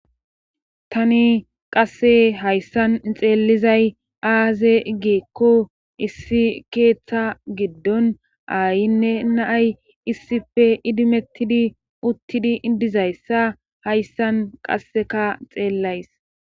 Tani qasse hayssan xeellizay aaze giikko issi keeththa giddon aayinne naay issife idimettidi uttidi dizayssa hayssan qasseka xeellays.